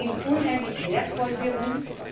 Sie sind unheimlich wertvoll für uns.